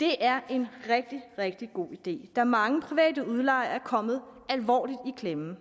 det er en rigtig rigtig god idé da mange private udlejere er kommet alvorligt i klemme